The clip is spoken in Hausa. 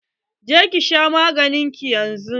Je ki sha maganin ki yanzun!